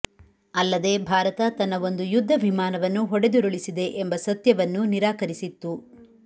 ಅಲ್ಲದೆ ಭಾರತ ತನ್ನ ಒಂದು ಯುದ್ಧ ವಿಮಾನವನ್ನು ಹೊಡೆದುರುಳಿಸಿದೆ ಎಂಬ ಸತ್ಯವನ್ನೂ ನಿರಾಕರಿಸಿತ್ತು